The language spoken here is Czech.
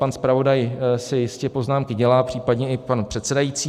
Pan zpravodaj si jistě poznámky dělá, případně i pan předsedající.